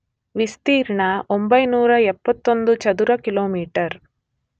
ವಿಸ್ತೀರ್ಣ 971 ಚದುರ ಕಿಲೋಮೀಟರ್